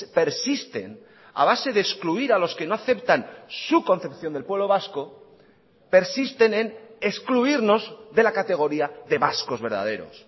persisten a base de excluir a los que no aceptan su concepción del pueblo vasco persisten en excluirnos de la categoría de vascos verdaderos